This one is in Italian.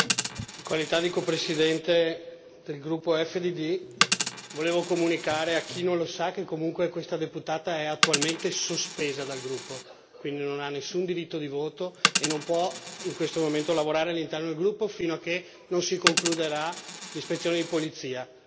Signor Presidente, onorevoli colleghi, in qualità di copresidente del gruppo EFDD volevo comunicare a chi non lo sa, che comunque questa deputata è attualmente sospesa dal gruppo, quindi non ha nessun diritto di voto e non può in questo momento lavorare all'interno del gruppo, fino a che non si concluderà l'ispezione di polizia.